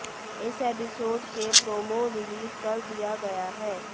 इस एपिसोड के promo release कर दिया गया है